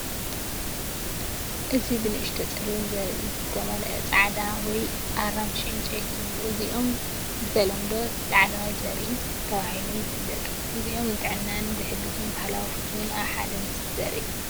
እዚ ብንኣሽቱ ጸሊም ዘርኢ ዝተመልአ ጻዕዳ ወይ ኣራንሺ ዕንጨይቲ እዩ። እዚኦም ብተለምዶ ላዕለዋይ ዘርኢ ተባሂሎም ይፍለጡ። እዚኦም ንጥዕና ዝሕግዝን ባህላዊ ፍቱውን ኣብ ሓደ ምስሊ ዘርኢ እዩ።